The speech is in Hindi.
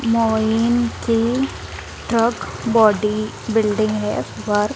मोइन के ट्रक बॉडी बिल्डिंग है वर--